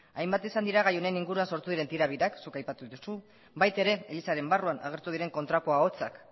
hainbat izan dira gai honen inguruan sortu diren tira birak zuk aipatu duzu baina ere elizaren barruan agertu diren kontrako ahotsak